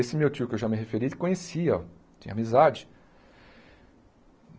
Esse meu tio que eu já me referi ele conhecia, tinha amizade.